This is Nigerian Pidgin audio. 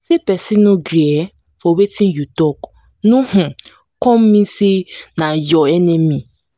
say pesin no gree um for wetin you talk no um come mean sey na your enemy.